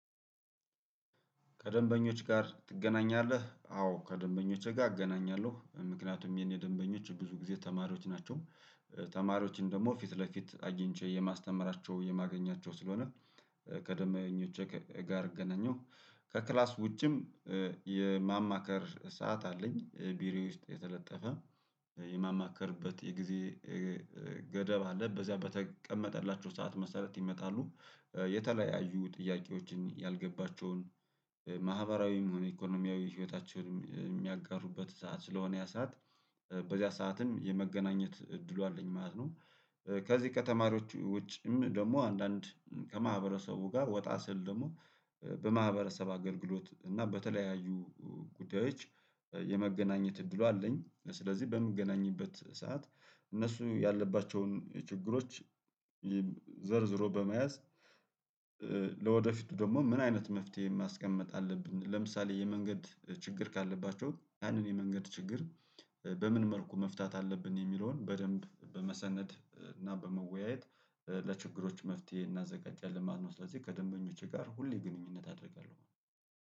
ከደንበኞች ጋር ትገናኛለህ አዎ ከደንበኞች ጋር እገናኛለሁ ምክንያቱም የኔ ደንበኞች ብዙ ጊዜ ተማሪዎች ናቸው። ተማሪዎችን ደግሞ ፊት ለፊት አግኝቼ የማስተምራቸው የማገኛቸው ስለሆነ ከደመኞቼ ጋር እገናኘሁ ከክላስ ውጪም የማማከር ሰዓት አለኝ ቢሮው ውስጥ የተለጠፈ የማማከርበት የጊዜ ገደብ አለ በዛ በተቀመጠላቸው ሰዓት መሰረት ይመጣሉ የተለያዩ ጥያቄዎችን ያልገባቸውን ማህበራዊም ኢኮኖሚያዊ ህይወታቸውን የሚያጋሩበት ሰዓት ስለሆነ ያ ሰዓት በዚያ ሰዓትም የመገናኘት እድሉ አለኝ ማለት ነው። ከዚህ ከተማሪዎችም ደግሞ አንዳንድ ከማህበረሰቡ ጋር ወጣ ስል ደግሞ በማህበረሰብ አገልግሎት እና በተለያዩ ጉዳዮች የመገናኘት እድሉ አለኝ ስለዚህ በምገናኝበት ሰዓት እነሱ ያለባቸውን የችግሮች ዘርዝሮ በመያዝ ለወደፊቱ ደግሞ ምን አይነት መፍትሄ ማስቀመጥ አለብን? ለምሳሌ የመንገድ ችግር ካለባቸው ያንን የመንገድ ችግር በምን መርኩ መፍታት አለብን? የሚለውን በደንብ በመሰነድ እና በመወያየት ለችግሮች መፍትሄ እናዘጋጃለን ያለማት ነው። ስለዚህ ከደንበኞቼ ጋር ሁሌ ግንኙነት አደርጋለሁ